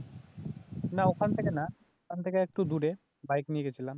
না ওখান থেকে না, ওখান থেকে একটু দূরে বাইক নিয়ে গেছিলাম